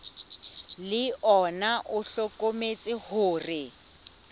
le ona o hlokometse hore